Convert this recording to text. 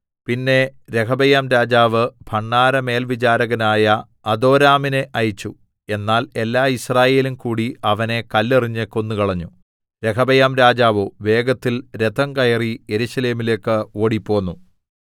പിന്നെ രെഹബെയാംരാജാവ് ഭണ്ഡാരമേൽവിചാരകനായ അദോരാമിനെ അയച്ചു എന്നാൽ എല്ലാ യിസ്രായേലും കൂടി അവനെ കല്ലെറിഞ്ഞ് കൊന്നുകളഞ്ഞു രെഹബെയാംരാജാവോ വേഗത്തിൽ രഥം കയറി യെരൂശലേമിലേക്ക് ഓടിപ്പോന്നു